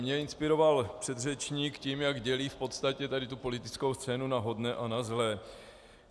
Mě inspiroval předřečník tím, jak dělí v podstatě tady tu politickou scénu na hodné a na zlé.